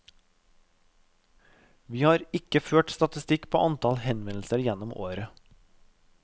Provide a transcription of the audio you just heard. Vi har ikke ført statistikk på antall henvendelser gjennom året.